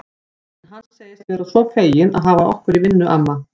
En hann segist vera svo feginn að hafa okkur í vinnu, amma